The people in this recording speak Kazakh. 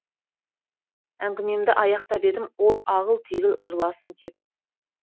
әңгімемді аяқтап едім ол ағыл тегіл жыласын кеп